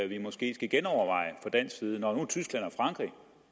vi måske skal genoverveje fra dansk side når